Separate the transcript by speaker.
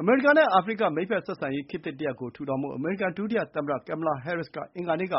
Speaker 1: အမေရိကန်နဲ့အာဖရိက မိတ်ဖက်ဆက်ဆံရေး ခေတ်သစ်တရပ်ကို ထူထောင်ဖို့ အမေရိကန်ဒုတိယသမ္မတ Kamala Harris က အင်္ဂါနေ့က